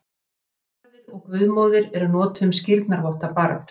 Orðin guðfaðir og guðmóðir eru notuð um skírnarvotta barns.